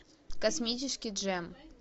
космический джем